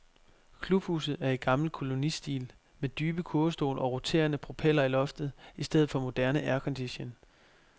Klubhuset er i gammel kolonistil med dybe kurvestole og roterende propeller i loftet i stedet for moderne aircondition.